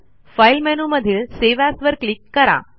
file मेनूमधील save as वर click करा